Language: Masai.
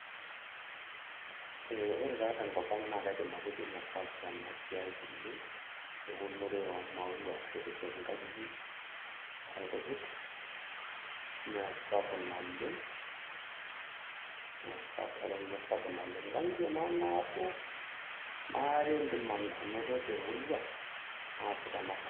Ee ore taa tenkop ang naa kaidim atejo mmee sapuk ena siai tenkop ang eunore omaua , aiteshep nkajijik onkujit ,mmee sapuk naleng ,eton mee sapuk naleng, nkangitie maanabo , maare indim anoto temurua naasita naabanji.